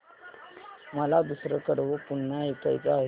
मला दुसरं कडवं पुन्हा ऐकायचं आहे